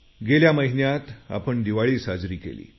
गेल्या महिन्यात आपण दिवाळी साजरी केली